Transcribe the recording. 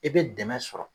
I bɛ dɛmɛ sɔrɔ